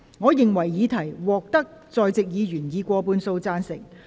我認為議題獲得在席議員以過半數贊成。